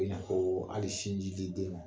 ko hali sinji di den ma